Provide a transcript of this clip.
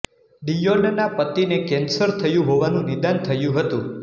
ડીયોનના પતિને કેન્સર થયું હોવાનું નિદાન થયું હતું